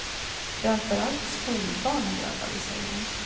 Framför allt skolbarn är drabbade, säger hon.